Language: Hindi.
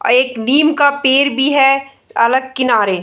एक निम का पेड़ भी है अलग किनारे।